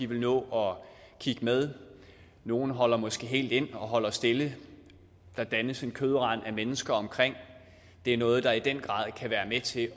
vil nå at kigge med nogle holder måske helt ind og holder stille der dannes en kødrand af mennesker omkring ulykkesstedet og det er noget der i den grad kan være med til